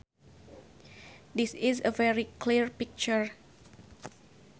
This is a very clear picture